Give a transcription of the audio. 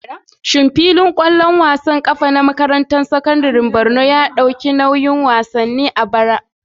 Shin filin wasan ƙwallon ƙafa na makarantar sakandaren Borno ya ɗauki nauyin wasanni a bara?